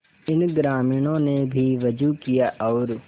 इन ग्रामीणों ने भी वजू किया और